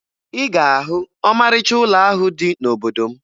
Ị ga-ahụ ọmarịcha ụlọ ahụ dị n'obodo m